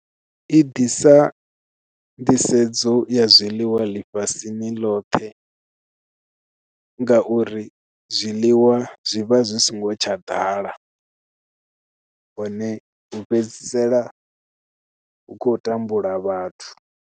I ḓisa nḓisedzo ya zwiḽiwa ḽifhasini ḽothe ngauri zwiḽiwa zwivha zwi songo tsha ḓala hone u fhedzisela hu khou tambula vhathu.